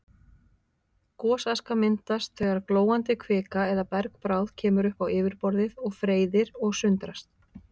Gosaska myndast þegar glóandi kvika eða bergbráð kemur upp á yfirborðið og freyðir og sundrast.